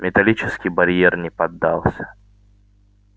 металлический барьер не поддался